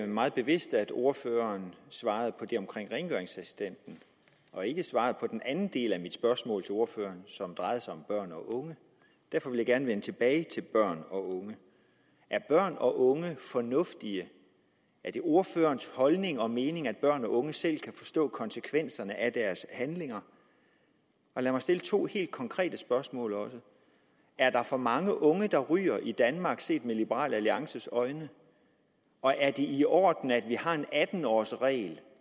meget bevidst at ordføreren svarede på det om rengøringsassistenten og ikke svarede på den anden del af mit spørgsmål som drejede sig om børn og unge derfor vil jeg gerne vende tilbage til børn og unge er børn og unge fornuftige er det ordførerens holdning og mening at børn og unge selv kan forstå konsekvenserne af deres handlinger lad mig stille to helt konkrete spørgsmål er der for mange unge der ryger i danmark set med liberal alliances øjne og er det i orden at vi har en atten års regel